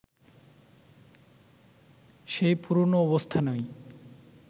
সেই পুরনো অবস্থানই